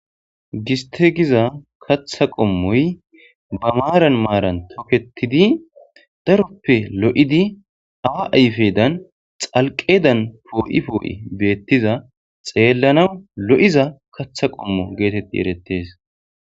Giste giza katha qommoy ba maaran maaran toketidi daroppe lo7idi awa ayfedan xalqedan poo7i poo7i beettiza xeellanaw lo7iza kaththa qommo geetetti erettees.